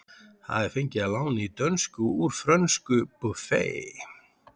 Það er fengið að láni í dönsku úr frönsku buffet.